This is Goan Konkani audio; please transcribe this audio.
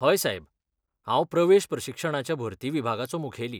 हय सायब, हांव प्रवेश प्रशिक्षणाच्या भरती विभागाचो मुखेली.